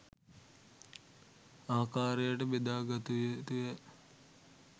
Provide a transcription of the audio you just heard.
ආකාරයට බෙදාගත යුතු ය.